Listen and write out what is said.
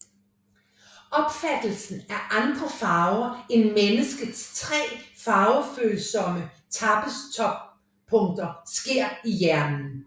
Opfattelsen af andre farver end mennesket tre farvefølsomme tappes toppunkter sker i hjernen